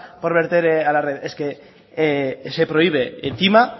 por verter a la red es que se prohíbe encima